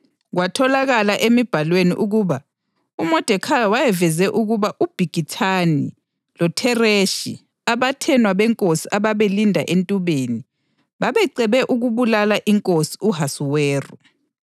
Kwatholakala emibhalweni ukuba uModekhayi wayeveze ukuba uBhigithani loThereshi, abathenwa benkosi ababelinda entubeni, babecebe ukubulala inkosi u-Ahasuweru.